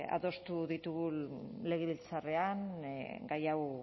adostu ditugu legebiltzarrean gai hau